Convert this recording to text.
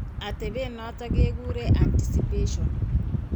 Atepet noton ke kuren anticipation.